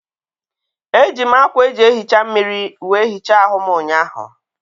Eji m ákwà eji ehicha mmiri wee hichaa ahụ m ụnyaahụ.